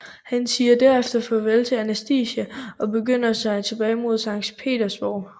Han siger derefter farvel til Anastasia og begiver sig tilbage mod Sankt Petersborg